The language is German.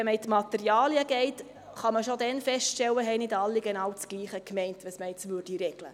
Wenn man in die Materialen geht, kann man feststellen, dass schon damals nicht alle meinten, dasselbe zu regeln.